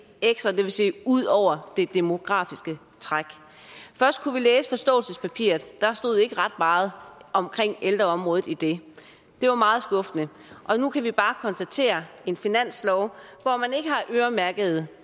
ud over det demografiske træk først kunne vi læse forståelsespapiret og der stod ikke ret meget om ældreområdet i det det var meget skuffende og nu kan vi bare konstatere en finanslov hvor man ikke har øremærket